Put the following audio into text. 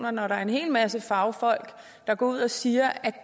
og når der er en hel masse fagfolk der går ud og siger at